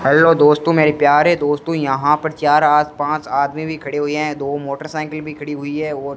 hello दोस्तों मेरे प्यारे दोस्तों यहां पर चार आ पांच आदमी भी खड़े हुए हैं दो मोटरसाइकिल भी खड़ी हुई है और--